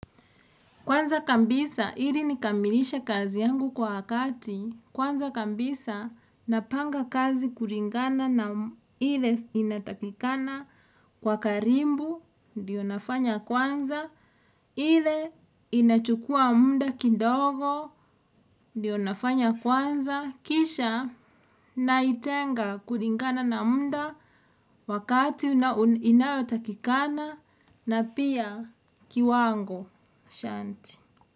Kwanza kabisa, ili nikamilishe kazi yangu kwa wakati. Kwanza kabisa, napanga kazi kulingana na ile inatakikana kwa karibu, ndio nafanya kwanza. Ile inachukua muda kidogo, ndiyo nafanya kwanza. Kisha, naitenga kulingana na muda wakati inayotakikana na pia kiwango. Shanti.